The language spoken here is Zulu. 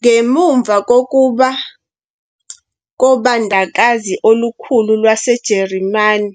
Ngemuva kokuba kobandakazi olukhulu lwaseJarimani